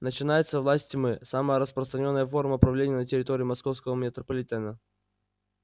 начинается власть тьмы самая распространённая форма правления на территории московского метрополитена